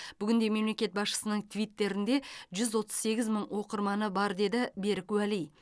бүгінде мемлекет басшысының твиттерінде жүз отыз сегіз мың оқырманы бар деді берік уәли